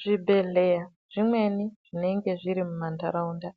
Zvibhedhlera zvimweni zvinenge zviri mumandaraunda